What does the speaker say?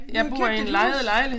Vi har købt et hus